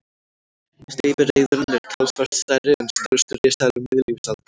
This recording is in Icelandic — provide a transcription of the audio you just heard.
Steypireyðurin er talsvert stærri en stærstu risaeðlur miðlífsaldar.